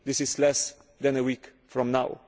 this is less than a week from now.